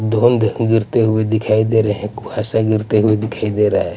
धुंध गिरते हुए दिखाई दे रहे हैं ऐसा गिरते हुए दिखाई दे रहा है.